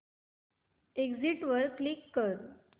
exit वर click कर